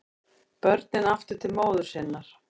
Börnin aftur til móður sinnar